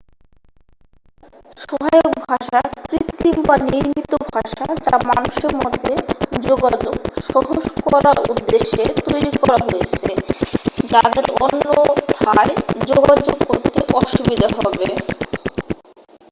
সহায়ক ভাষা কৃত্রিম বা নির্মিত ভাষা যা মানুষের মধ্যে যোগাযোগ সহজ করার উদ্দেশ্যে তৈরি করা হয়েছে যাদের অন্যথায় যোগাযোগ করতে অসুবিধা হবে